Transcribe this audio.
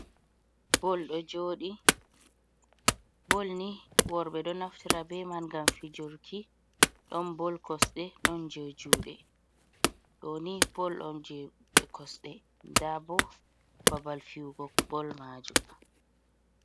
Bol ɗo joɗi, Bol ni worbe do naftira be man gam fijurki ɗon Bol kosde ɗon je jude, ɗoni Bol on je kosde dabo babal fiwugo Bol majo.